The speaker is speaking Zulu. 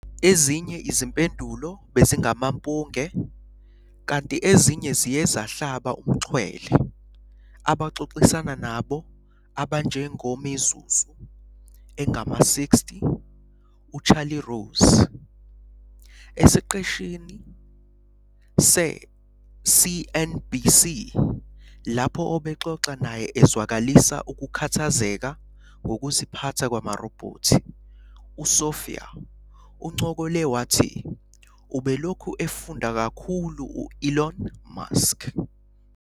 Ezinye izimpendulo bezingamampunge, kanti ezinye ziye zahlaba umxhwele abaxoxisana nabo abanjengoMizuzu "engama-60" uCharlie Rose. Esiqeshini se-CNBC, lapho obexoxa naye ezwakalisa ukukhathazeka ngokuziphatha kwamarobhothi, uSophia uncokole wathi "ubelokhu efunda kakhulu u-Elon Musk.